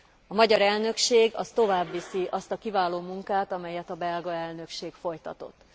A magyar elnökség továbbviszi azt a munkát, amelyet a belga elnökség folytatott.